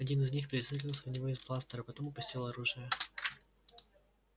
один из них прицелился в него из бластера потом опустил оружие